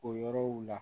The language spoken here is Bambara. O yɔrɔw la